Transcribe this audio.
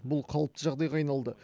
бұл қалыпты жағдайға айналды